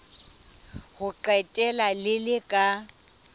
ho qetela le le ka